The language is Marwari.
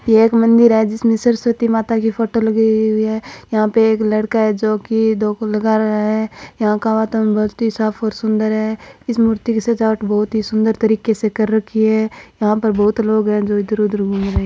यह एक मंदिर है जिसमें सरस्वती माता की फोटो लगी हुई है यहां पे एक लड़का है जोकि धोक लगा रहा है यहां का वातावरण बहुत ही साफ और सूंदर है इस मूर्ति की सजावट बहुत ही सूंदर तरीके से कर रखी है यहां पर बहुत लोग है जो इधर उधर घूम रहे --